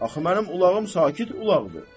Axı mənim ulağım sakit ulaqdır.